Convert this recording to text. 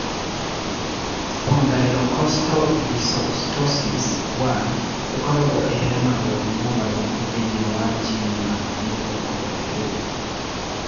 Spondylocostal dysostosis 1 ĩkoragwo ĩrehagwo nĩ mogarũrũku thĩinĩ wa jini ya DLL3.